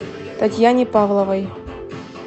татьяне павловой